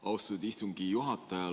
Austatud istungi juhataja!